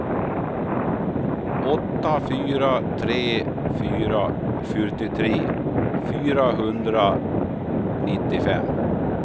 åtta fyra tre fyra fyrtiotre fyrahundranittiofem